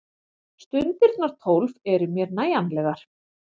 Stundirnar tólf eru mér nægjanlegar.